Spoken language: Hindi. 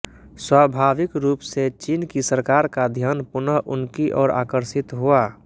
स्वाभाविक रूप से चीन की सरकार का ध्यान पुनः उनकी ओर आकर्षित हुआ